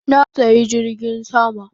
Na saya jirgin sama